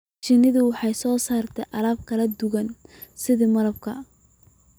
Shinnidu waxay soo saartaa alaabo kala duwan sida malabka